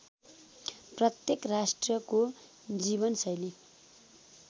प्रत्येक राष्ट्रको जीवनशैली